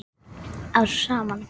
að saman.